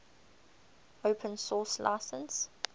open source license